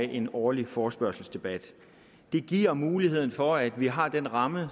en årlig forespørgselsdebat det giver muligheden for at vi har den ramme